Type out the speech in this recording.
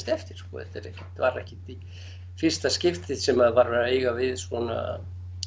eftir þetta var ekkert í fyrsta skiptið sem maður var að eiga við svona